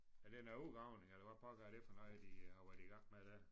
Er det noget udgravning eller hvad pokker er det for noget de har været i gang med der